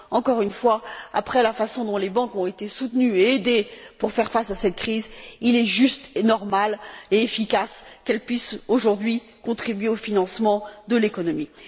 Encore une fois, après la façon dont les banques ont été soutenues et aidées pour faire face à cette crise, il est juste, normal et efficace qu'elles puissent aujourd'hui contribuer au financement de l'économie.